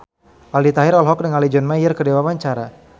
Aldi Taher olohok ningali John Mayer keur diwawancara